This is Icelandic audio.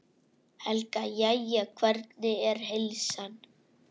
Helga: Jæja, hvernig er heilsan?